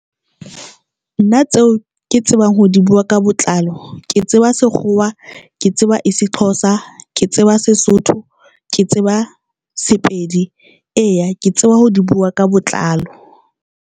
Nna tseo ke tsebang ho di bua ka botlalo ke tseba Sekgowa, ke tseba IsiXhosa, ke tseba Sesotho, ke tseba Sepedi. Eya, ke tseba ho di bua ka botlalo.